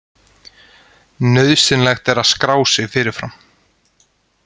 Nauðsynlegt er að skrá sig fyrirfram